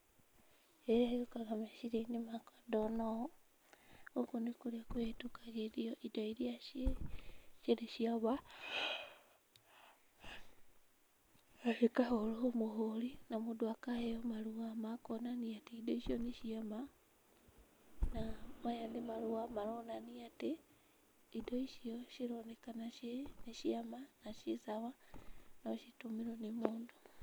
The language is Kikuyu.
Kĩrĩa gĩũkaga meciria-inĩ makwa ndona ũũ, gũkũ nĩ kũrĩa kũhĩtũkagĩrio indo iria ciĩ cirĩ cia ma, na cikahũrwo mũhũri na mũndũ akaheo marũa ma kuonania atĩ indo icio nĩ ciama, na maya nĩ marũa maronania atĩ indo icio cironekana ciĩ nĩ ciama na ciĩ sawa no citũmĩrwo nĩ mũndũ.